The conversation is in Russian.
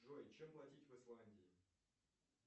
джой чем платить в исландии